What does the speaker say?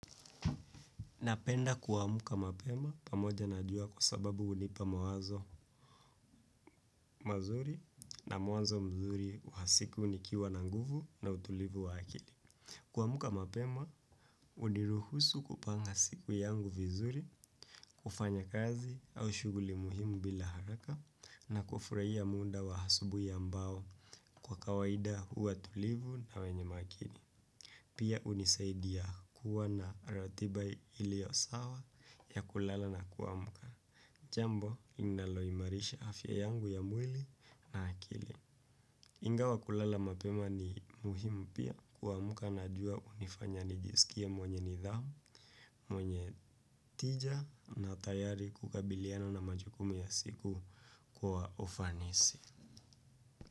Napenda kuamka mapema pamoja najua kwa sababu hunipa mawazo mazuri na mwanzo mzuri wa siku nikiwa na nguvu na utulivu wa akili. Kuamka mapema, huniruhusu kupanga siku yangu vizuri, kufanya kazi au shuguli muhimu bila haraka na kufurahia muda wa asubuhi ambao kwa kawaida huwa tulivu na wenye makini. Pia hunisaidia kuwa na ratiba iliyo sawa ya kulala na kuamka. Jambo linalo imarisha afya yangu ya mwili na akili. Ingawa kulala mapema ni muhimu pia kuamka najua hunifanya nijisikie mwenye nidhamu. Mwenye tija na tayari kukabiliana na majukumu ya siku kwa ufanisi.